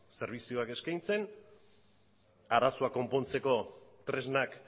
zerbitzuak eskaintzen arazoak konpontzeko tresnak